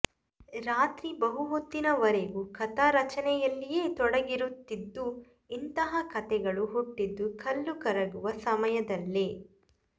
ರಾತ್ರಿ ಬಹುಹೊತ್ತಿನ ವರೆವಿಗು ಕಥಾ ರಚನೆಯಲ್ಲಿಯೇ ತೊಡಗಿರುತ್ತಿದ್ದು ಇಂತಹ ಕತೆಗಳು ಹುಟ್ಟಿದ್ದು ಕಲ್ಲುಕರಗುವ ಸಮಯದಲ್ಲೆ